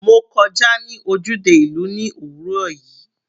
Mo kọjá ní ojúde ìlú ní òwúrọ̀ yìí.